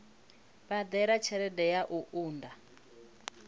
badela tshelede ya u unḓa